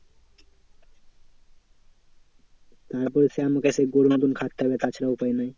তারপরে সে আমাকে তো খাটতে হবে তাছাড়া উপায় নাই।